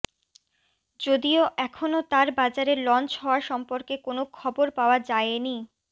যদিও এখনও তার বাজারে লঞ্চ হওয়া সম্পর্কে কোনো খবর পাওয়া জায়েনি